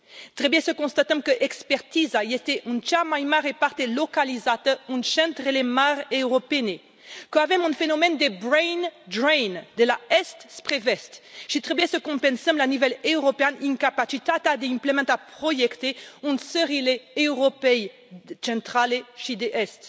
Trebuie să constatăm că expertiza este în cea mai mare parte localizată în centrele mari europene, că avem un fenomen de brain drain de la est spre vest și trebuie să compensăm la nivel european incapacitatea de a implementa proiecte în țările Europei Centrale și de Est.